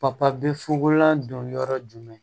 Papa bi fugola don yɔrɔ jumɛn